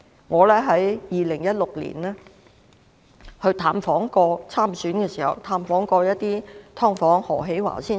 我在2016年參選的時候，曾探訪一些"劏房戶"。